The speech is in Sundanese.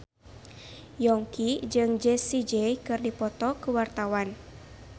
Yongki jeung Jessie J keur dipoto ku wartawan